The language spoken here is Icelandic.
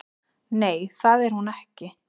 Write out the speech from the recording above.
Nei, það er hún ekki